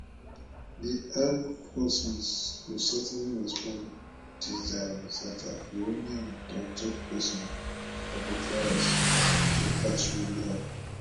di armed forces go certainly respond dis zionist attack iranian toktok pesin abolfazl shekarchi yarn